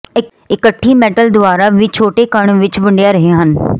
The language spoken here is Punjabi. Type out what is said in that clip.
ਇਕੱਠੀ ਮੈਟਲ ਦੁਵਾਰਾ ਵੀ ਛੋਟੇ ਕਣ ਵਿੱਚ ਵੰਡਿਆ ਰਹੇ ਹਨ